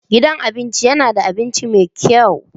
Gidan abinci yana da abinci mai kyau.